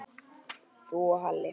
Þú og Halli?